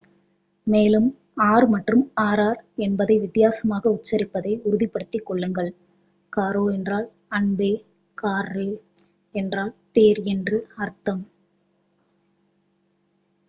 மேலும் r மற்றும் rr என்பதை வித்தியாசமாக உச்சரிப்பதை உறுதிப்படுத்திக் கொள்ளுங்கள் காரோ என்றால் அன்பே கார்ரோ என்றால் தேர் என்று அர்த்தம்